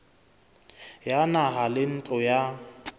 ya naha le ntlo ya